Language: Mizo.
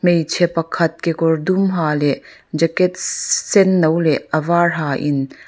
hmeichhe pakhat kekawr dum ha leh jacket sss sen no leh a var ha in--